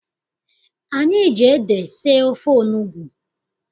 Anyị ji ede sie ofe onugbu.